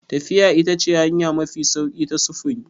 Tafiya ita ce hanya mafi sauƙi ta sufuri.